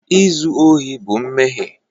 Izu ohi bụ mmehie